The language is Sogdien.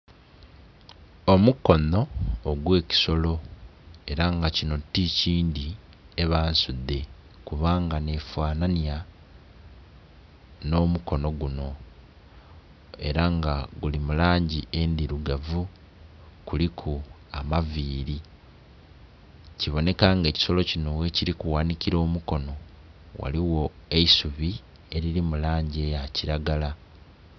Omukonho ogw'ekisolo ela nga kinho ti kindhi, eba nsudhe kubanga nh'efanhanhya nh'omukono gunho ela nga guli mu langi ndhilugavu, kuliku amaviili. Kibonheka nga ekisolo kinho ghekili kughanhikila omukono ghaligho eisubi elili mu langi eya kilagala.